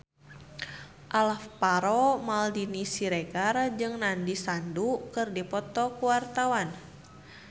Alvaro Maldini Siregar jeung Nandish Sandhu keur dipoto ku wartawan